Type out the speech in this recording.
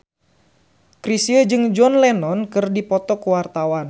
Chrisye jeung John Lennon keur dipoto ku wartawan